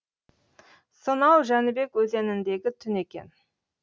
сонау жәнібек өзеніндегі түн екен